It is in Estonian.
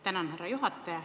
Tänan, härra juhataja!